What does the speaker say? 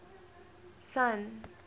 sun